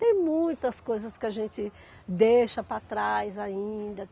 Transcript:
Tem muitas coisas que a gente deixa para trás ainda.